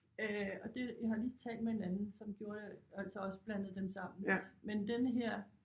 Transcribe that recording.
Øh og det jeg har lige talt med en anden som gjorde det altså også blandede dem sammen men denne her